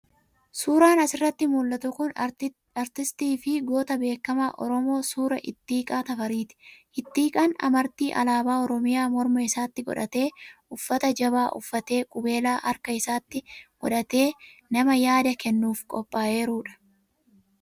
Suuraan asirratti mul'atu kun artistii fi goota beekamaa Oromoo, suuraa Ittiiqaa Tafariiti. Ittiiqaan amartii alaabaa Oromiyaa morma isaatti godhatee, uffata jabaa uffatee, qubeelaa harka isaatti godhatee, nama yaada kennuuf qophaa'eerudha.